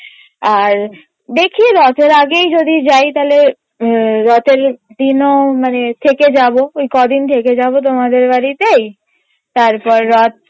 আর দেখি রথের আগেই যদি যাই তাহলে রথের দিনও মানে থেকে যাবো কদিন থেকে যাবো তোমাদের বাড়িতে তারপর রথ